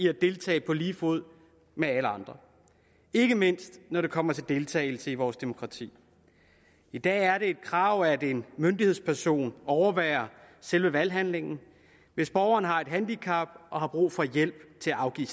at deltage på lige fod med alle andre ikke mindst når det kommer til deltagelse i vores demokrati i dag er det et krav at en myndighedsperson overværer selve valghandlingen hvis borgeren har et handicap og har brug for hjælp til at afgive